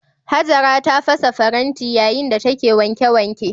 Hajara ta fasa faranti yayin da take wanke wanke.